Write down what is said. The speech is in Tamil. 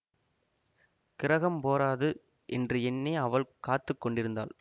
கிரஹம் போறாது என்று எண்ணி அவள் காத்து கொண்டிருந்தாள்